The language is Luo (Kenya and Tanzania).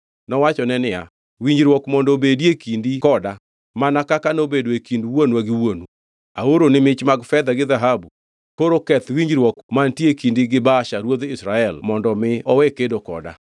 Nowachone niya, “Winjruok mondo obedie kindi koda, mana kaka nobedo e kind wuonwa gi wuonu. Aoroni mich mag fedha gi dhahabu, koro keth winjruok mantie e kindi gi Baasha ruodh Israel mondo mi owe kedo koda.”